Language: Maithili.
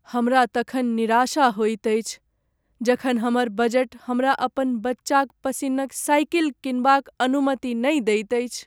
हमरा तखन निराशा होएत अछि जखन हमर बजट हमरा अपन बच्चाक पसिन्नक साइकिल किनबाक अनुमति नहि दैत अछि।